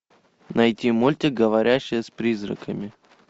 найти мультик говорящая с призраками